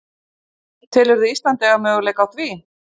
Telurðu Ísland eiga möguleika á því?